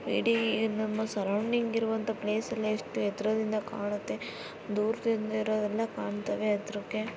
ಇಡೀ ನಮ್ಮ ಸರೌಂಡಿಂಗ್ ಇರುವಂಥ ಪ್ಲೇಸ್ ಎಲ್ಲಾ ಎಷ್ಟು ಎತ್ತರದಿಂದ ಕಾಣುತ್ಗೆ ದೂರದಿಂದ ಇರೋದಿಲ್ಲ ಕಾಂತಾವೇ ಎದ್ರುಗೆ.